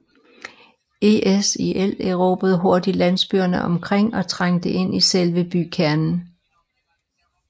ISIL erobrede hurtigt landsbyerne omkring og trængte ind i selve bykernen